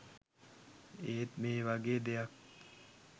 ඒත් මේ වගේ දෙයක්